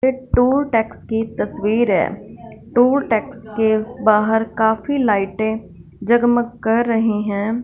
ये toll tax की तस्वीर है। टूल टैक्स के बाहर काफी लाइटें जगमग कर रही है।